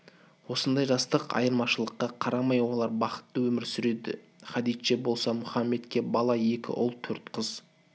осындай жастық айырмашылыққа қарамай олар бақытты өмір сүреді хадиджа болса мұхаммедке бала екі ұл төрт қыз